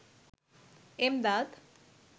Emdad